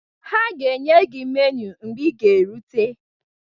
Ha ga-enye gị meniu mgbe ị ga-erute